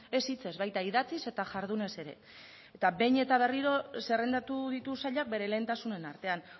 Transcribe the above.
ez hitzez baita idatziz eta jardunez ere eta behin eta berriro zerrendatu ditu sailak bere lehentasunen artean